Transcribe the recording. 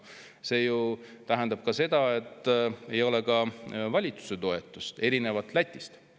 See ju tähendab seda, et ei ole ka valitsuse toetust, erinevalt Lätist.